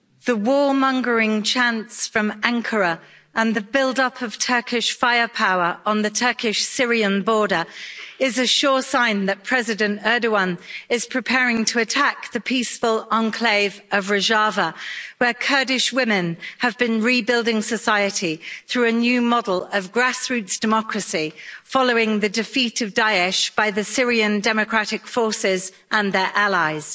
Madam President, the war mongering chants from Ankara and the build up of Turkish firepower on the Turkish Syrian border is a sure sign that President Erdoğan is preparing to attack the peaceful enclave of Rojava, where Kurdish women have been rebuilding society through a new model of grassroots democracy, following the defeat of Daesh by the Syrian Democratic Forces and their allies.